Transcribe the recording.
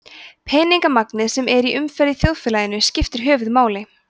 peningamagnið sem er í umferð í þjóðfélaginu skiptir höfuðmáli